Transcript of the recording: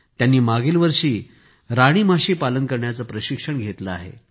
त्यांनी मघ्य वर्षी राणी माशी पालन करण्याचं प्रशिक्षण घेतलं आहे